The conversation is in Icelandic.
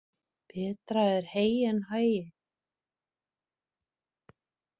Betra er hey en hagi.